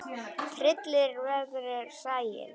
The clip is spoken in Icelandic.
Tryllir veðrið sæinn.